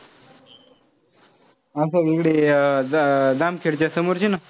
असं कुठे जामखेडच्या समोरची ना?